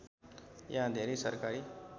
यहाँ धेरै सरकारी